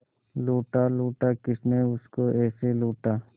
लूटा लूटा किसने उसको ऐसे लूटा